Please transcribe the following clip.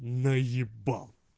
наебал